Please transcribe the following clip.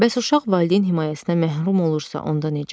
Bəs uşaq valideyn himayəsinə məhrum olursa, onda necə?